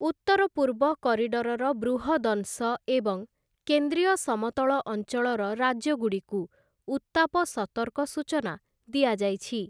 ଉତ୍ତର ପୂର୍ବ କରିଡରର ବୃହଦଂଶ ଏବଂ କେନ୍ଦ୍ରୀୟ ସମତଳ ଅଞ୍ଚଳର ରାଜ୍ୟଗୁଡ଼ିକୁ ଉତ୍ତାପ ସତର୍କ ସୂଚନା ଦିଆଯାଇଛି ।